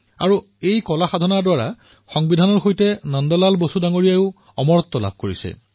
তেওঁ সেই কলা সাধনাই সংবিধানৰ সৈতে নন্দ লাল বসুকো অমৰ কৰি তুলিছে